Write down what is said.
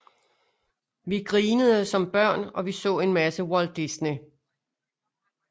Vi grinede som børn og vi så en masse Walt Disney